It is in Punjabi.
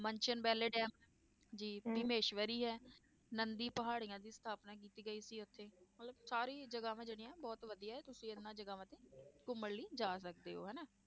ਮਨਸਨ ਵੈਲੇ ਡੈਮ ਜੀ ਹੈ, ਨੰਦੀ ਪਹਾੜੀਆਂ ਦੀ ਸਥਾਪਨਾ ਕੀਤੀ ਗਈ ਉੱਥੇ, ਮਤਲਬ ਸਾਰੀ ਜਗ੍ਹਾਵਾਂ ਜਿਹੜੀਆਂ ਬਹੁਤ ਵਧੀਆ ਹੈ ਤੁਸੀਂ ਇਹਨਾਂ ਜਗ੍ਹਾਵਾਂ ਤੇ ਘੁੰਮਣ ਲਈ ਜਾ ਸਕਦੇ ਹੋ ਹਨਾ,